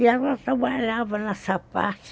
E ela trabalhava nessa parte